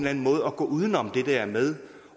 anden måde at gå uden om det der med